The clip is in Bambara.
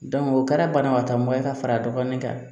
o kɛra banabaatɔ mun ye ka fara a dɔgɔnin kan